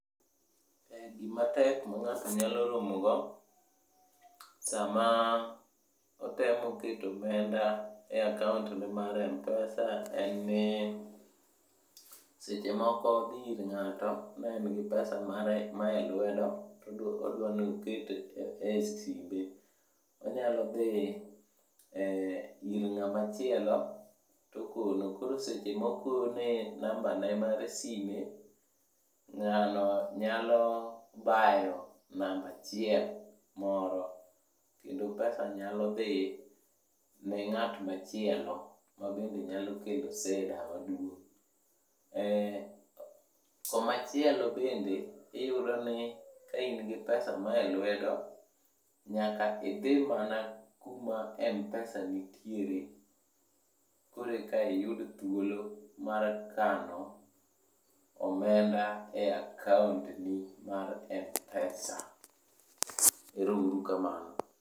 Gimatek ma ng'ato nyalo romogo, sama otemo keto omenda e akaontne mar M-pesa en ni, seche moko odhi ir ng'ato ne en gi pesa mare mae lwedo todwanoket e simbe. Onyalo dhi e ir ng'amachielo tokono. Koro seche mokone nambane mar sime, ng'ano nyalo bayo namba achiel moro. Kendo pesa nyalo dhi ne ng'at machielo, mabende nyalo kelo sida maduong'. Komachielo bende, iyudo ni kaingi pesa maelwedo, nyaka idhi mana kuma M-pesa nitiere. Korka iyud thuolo mar kano omenda e akaontni mar M-pesa. Ero uru kamano.